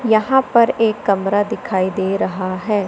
यहां पर एक कमरा दिखाई दे रहा है।